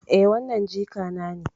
Eh, wannan jikana ne.